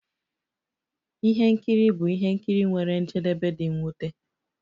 Ihe nkiri bụ ihe nkiri nwere njedebe dị mwute.